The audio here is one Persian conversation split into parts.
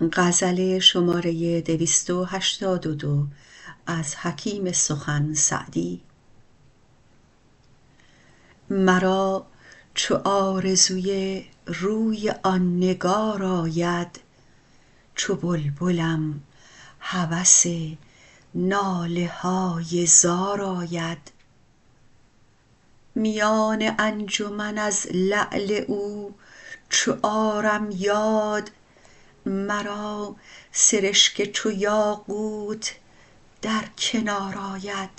مرا چو آرزوی روی آن نگار آید چو بلبلم هوس ناله های زار آید میان انجمن از لعل او چو آرم یاد مرا سرشک چو یاقوت در کنار آید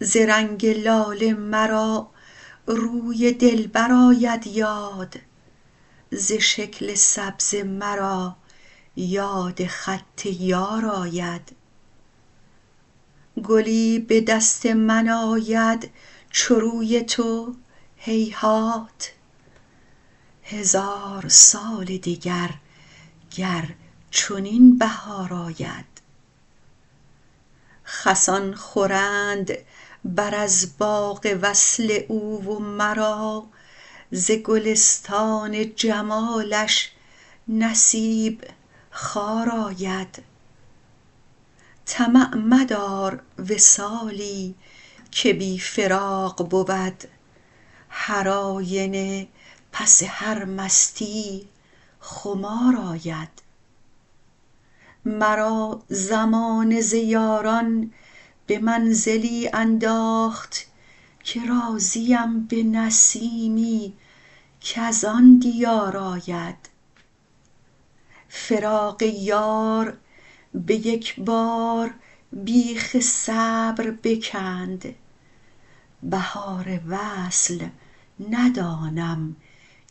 ز رنگ لاله مرا روی دلبر آید یاد ز شکل سبزه مرا یاد خط یار آید گلی به دست من آید چو روی تو هیهات هزار سال دگر گر چنین بهار آید خسان خورند بر از باغ وصل او و مرا ز گلستان جمالش نصیب خار آید طمع مدار وصالی که بی فراق بود هرآینه پس هر مستیی خمار آید مرا زمانه ز یاران به منزلی انداخت که راضیم به نسیمی کز آن دیار آید فراق یار به یک بار بیخ صبر بکند بهار وصل ندانم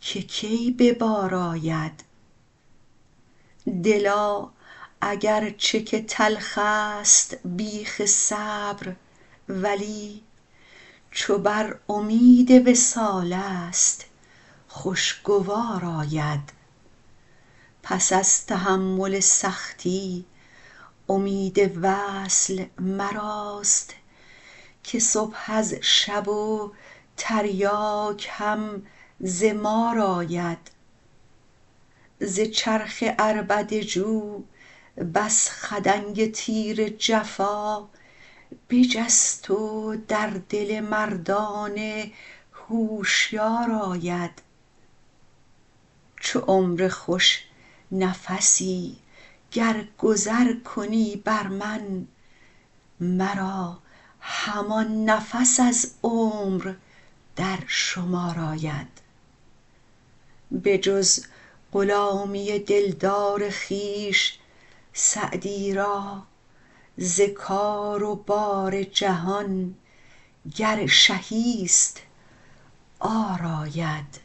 که کی به بار آید دلا اگر چه که تلخست بیخ صبر ولی چو بر امید وصالست خوشگوار آید پس از تحمل سختی امید وصل مراست که صبح از شب و تریاک هم ز مار آید ز چرخ عربده جو بس خدنگ تیر جفا بجست و در دل مردان هوشیار آید چو عمر خوش نفسی گر گذر کنی بر من مرا همان نفس از عمر در شمار آید بجز غلامی دلدار خویش سعدی را ز کار و بار جهان گر شهی ست عار آید